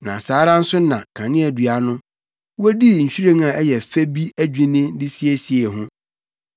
Na saa ara nso na kaneadua no, wodii nhwiren a ɛyɛ fɛ bi adwinni de siesiee no.